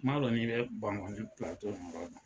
N'a dɔn n'i bɛ Bankɔnj filatɔ